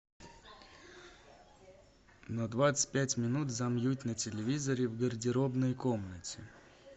на двадцать пять минут замьють на телевизоре в гардеробной комнате